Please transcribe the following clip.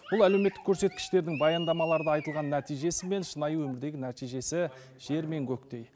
бұл әлеуметтік көрсеткіштердің баяндамаларда айтылған нәтижесі мен шынайы өмірдегі нәтижесі жер мен көктей